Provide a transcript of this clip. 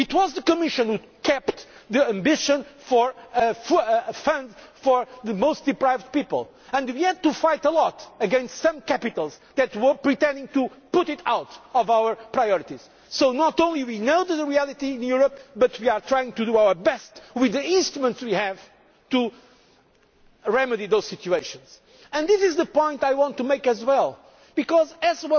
only do I know, I am fighting to solve that problem. It was the Commission which upheld the aspiration for a fund for the most deprived people and had to fight hard against some capitals that were seeking to remove it our priorities. So not only do we know the reality in Europe, but we are trying to do our best with the instruments we have to remedy those situations. And